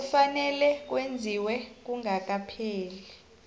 kufanele kwenziwe kungakapheli